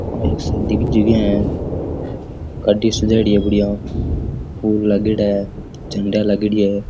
या एक शादी की जगह है गाड़ी सजायेडी है बढ़िया फूल लागेडा है झंडा लागेडा है।